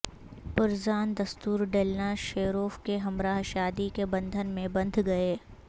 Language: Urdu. پرزان دستور ڈیلنا شیروف کے ہمراہ شادی کے بندھن میں بندھ گئے